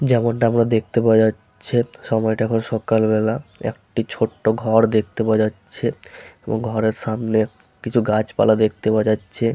যেমন তা আমরা দেখতে পাওয়া যাচ্ছে সময় টা এখন সকাল বেলা ।একটি ছোট ঘর দেখতে পাওয়া যাচ্ছে এবং ঘরের সামনে কিছু গাছপালা দেখতে পাওয়া যাচ্ছে।